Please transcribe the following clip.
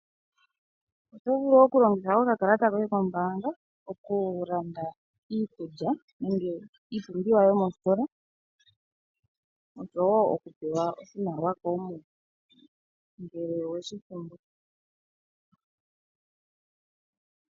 Oto vulu okulanditha oka kalata koye komo mbaanga oku landa iikulya nenge iipumbiwa yomostola nosho wo oku pewa oshimaliwa shoye ngoye mwene ngele oweshi pumbwa.